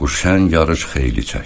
Bu şən yarış xeyli çəkdi.